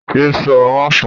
Ye sọ máfọ̀ọ́!